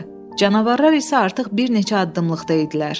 Canavarlar isə artıq bir neçə addımlıqda idilər.